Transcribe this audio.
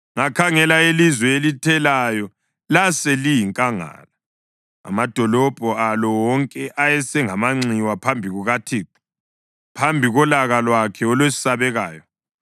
Ngakhangela, ilizwe elithelayo laseliyinkangala, amadolobho alo wonke ayesengamanxiwa phambi kukaThixo, phambi kolaka lwakhe olwesabekayo.